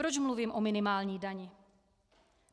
Proč mluvím o minimální dani?